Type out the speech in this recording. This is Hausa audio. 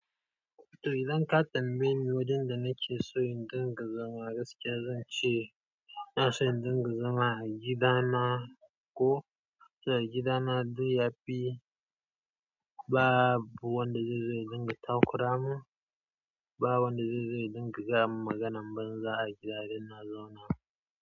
To, idan ka tambaye ni wajen da nake so in dinga zama gaskiya zan ce ina so in dinga zama a gidana ko. Saboda gidana duk yafi babu wanda zai zo ya dinga takura mu, babu wanda zai zo ya dinga gayamin maganan banza a gida da ina zaune.